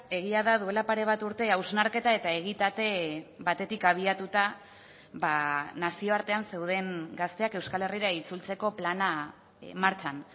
egia da duela pare bat urte hausnarketa eta egitate batetik abiatuta nazioartean zeuden gazteak euskal herrira itzultzeko plana martxan